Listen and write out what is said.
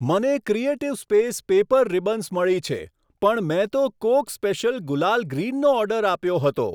મને creative space paper ribbons મળી છે, પણ મેં તો કોક સ્પેશિયલ ગુલાલ ગ્રીનનો ઓર્ડર આપ્યો હતો.